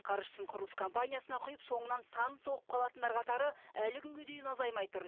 қаржысын құрылыс компаниясына құйып соңынан санын соғып қалатындар қатары әлі күнге дейін азаймай тұр